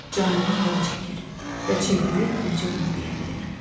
Canına hava çəkir və çevrilib bircə bunu deyə bilir: